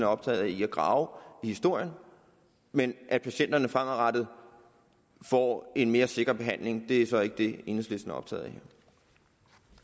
optaget af at grave i historien men at patienterne fremadrettet får en mere sikker behandling er så ikke det enhedslisten er optaget